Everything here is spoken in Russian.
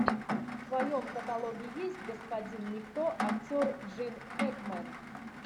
в твоем каталоге есть господин никто актер джин хэкмен